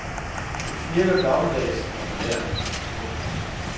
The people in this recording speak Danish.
Det knirker gammeldags og belærende. punktum